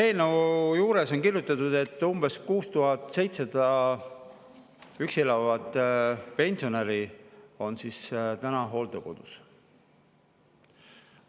Eelnõu on kirjutatud, et umbes 6700 üksi elavat pensionäri on täna hooldekodus.